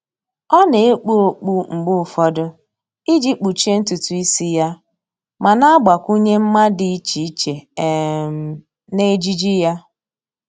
Ọ́ nà-ekpu okpu mgbe ụfọdụ iji kpuchie ntụtụ ísí yá ma nà-àgbakwụnye mma dị iche iche um n'ejiji yá.